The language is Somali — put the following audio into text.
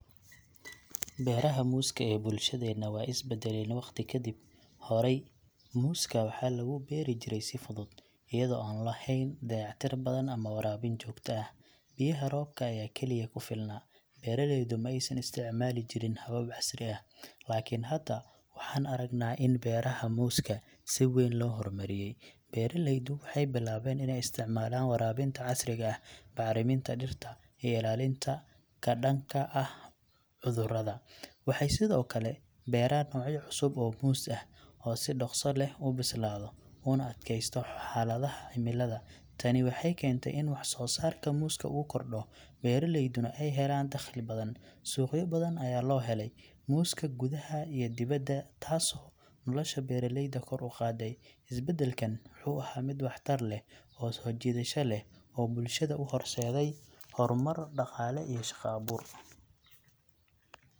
Beeraha muuska ee bulshadeena weey isbeddeleen waqti ka dib. Horey, muuska waxa lagu beeri jiray si fudud, iyada oo aan lahayn dayactir badan ama waraabin joogta ah. Biyaha roobka ayaa kaliya ku filnaa, beeraleydu ma aysan isticmaalin habab casri ah. Laakiin hadda, waxaan aragnaa in beeraha muuska si weyn loo horumariyay. Beeraleydu waxay bilaabeen inay isticmaalaan waraabinta casriga ah, bacriminta dhirta, iyo ilaalinta ka dhanka ah cudurrada. Waxay sidoo kale beeraan noocyo cusub oo muus ah oo si dhaqso leh u bislaado una adkaysta xaaladaha cimilada. Tani waxay keentay in wax-soo-saarka muuska uu kordho, beeraleyduna ay helaan dakhli badan. Suuqyo badan ayaa loo helay muuska, gudaha iyo dibadda, taasoo nolosha beeraleyda kor u qaaday. Isbedelkan wuxuu ahaa mid wax tar leh oo soo jiidasho leh oo bulshada u horseeday horumar dhaqaale iyo shaqo abuur.